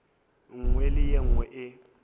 nngwe le ye nngwe e